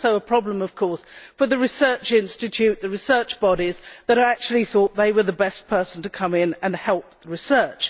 It is also a problem, of course, for the research institutes, the research bodies that thought this was the best person to come in and help their research.